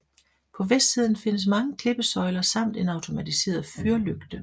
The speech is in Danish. På vestsiden findes mange klippesøjler samt en automatiseret fyrlygte